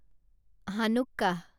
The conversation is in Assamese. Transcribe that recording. হানুক্কাহ